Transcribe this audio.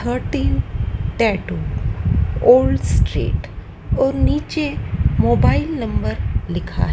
thirteen tattoo all street और नीचे mobile number लिखा--